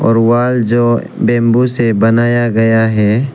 Wall जो bamboo से बनाया गया है।